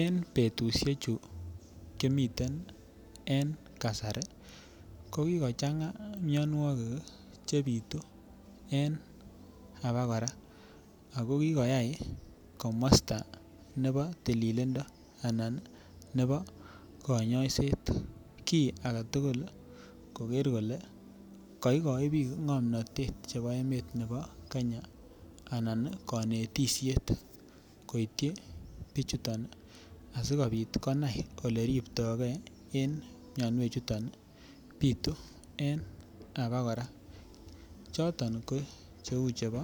En betushechu kimiten en kasari ko kikochanga mionwokik chebitu en abakora ak ko kikoyai komosto nebo tililindo anan nebo konyoiset kii aketukul koker kolee koikoi biik ngomnotet nebo Kenya anan konetishet koityi bichuton asikobit konai eleribtokei en mionwek chuton bitu en abakora choton ko cheuu chebo